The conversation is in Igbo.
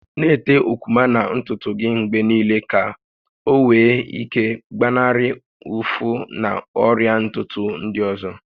Na-ete okwuma na ntutu gị mgbe niile ka ọ nwee ike ịgbanarị ụfụ na ọrịa ntutu ndị ọzọ